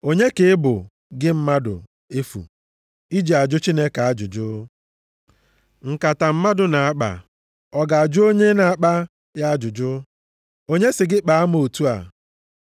Onye ka ị bụ gị mmadụ efu, iji ajụ Chineke ajụjụ? “Nkata mmadụ na-akpa ọ ga-ajụ onye na-akpa ya ajụjụ, ‘Onye sị gị kpaa m otu a?’ ”+ 9:20 \+xt Aịz 29:16; 45:9\+xt*